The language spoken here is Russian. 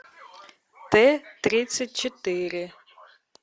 т тридцать четыре